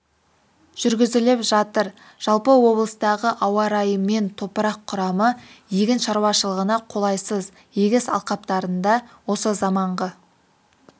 жүргізіліп жатыр жалпы облыстағы ауа-райы мен топырақ құрамы егін шаруашылығына қолайсыз егіс алқаптарында осы заманғы